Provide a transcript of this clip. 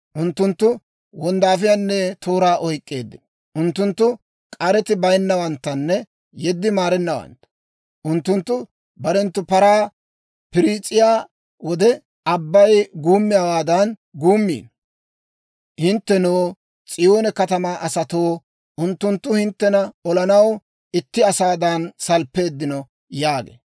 Unttunttu wonddaafiyaanne tooraa oyk'k'eeddino. Unttunttu k'areti bayinnawanttanne yeddi maarennawantta. Unttunttu barenttu paran piriis'iyaa wode, abbay guummiyaawaadan guummiino. Hinttenoo, S'iyoone katamaa asatoo, unttunttu hinttena olanaw itti asaadan salppeeddino» yaagee.